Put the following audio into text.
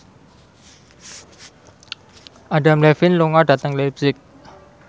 Adam Levine lunga dhateng leipzig